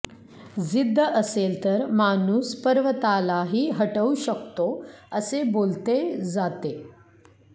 जिद्द असेल तर माणूस पर्वतालाही हटवू शकतो असे बोलते जाते